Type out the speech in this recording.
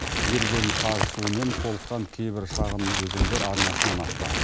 еріген қар суымен толыққан кейбір шағын өзендер арнасынан асты